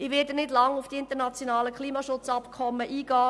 Ich werde nicht lange auf die internationalen Klimaschutzabkommen eingehen.